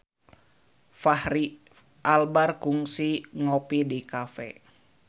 Fachri Albar kungsi ngopi di cafe